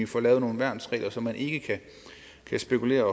får lavet nogle værnsregler så man ikke kan spekulere